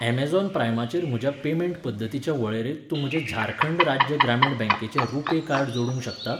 Amazon प्राइमाचेर म्हज्या payment पद्दतींच्या वळेरेंत तूं म्हजें झारखंड राज्य ग्रामीण बँकेचें रुपे कार्ड जोडूंक शकता?